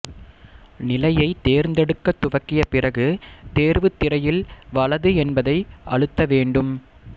நிலையைத் தேர்ந்தெடுக்க துவக்கிய பிறகு தேர்வுத் திரையில் வலது என்பதை அழுத்த வேண்டும்